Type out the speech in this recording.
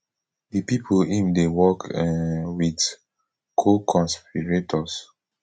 di pipo im dey work um wit coconspirators